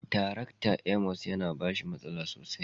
Tarakta. " Amos" ya na bashi masala sosai